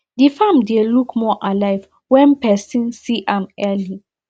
the farm dey look more alive when person see am early